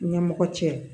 Ɲɛmɔgɔ cɛ